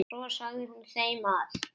Svo sagði hún þeim að